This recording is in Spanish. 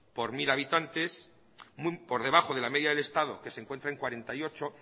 por mil habitantes por debajo de la media del estado que se encuentra en cuarenta y ocho